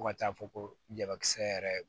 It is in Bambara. Fo ka taa fɔ ko jabakisɛ yɛrɛ